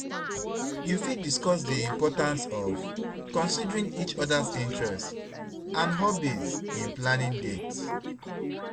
You fit discuss di importance of considerng each oda's interests and hobbies in planning dates?